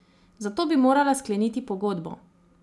Za to bi morala skleniti pogodbo.